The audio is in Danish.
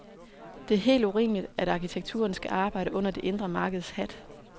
Det er helt urimeligt at arkitekturen skal arbejde under det indre markeds hat.